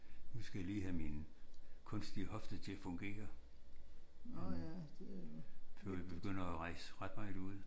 Nu skal jeg lige have min kunstige hofte til at fungere før jeg begynder at rejse ret meget ud